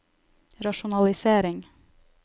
rasjonalisering